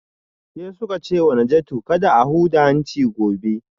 Sai suka ce wa Najatu kada a huda hanci gobe